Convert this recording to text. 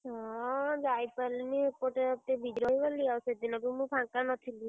ହଁ ଯାଇପାରିଲିନି ଏପଟେ ଏତେ busy ରହିଗଲି। ଆଉ ସେଦିନବି ମୁଁ ଫାଙ୍କା ନଥିଲି।